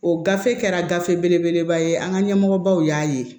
O gafe kɛra gafe belebeleba ye an ka ɲɛmɔgɔ baw y'a ye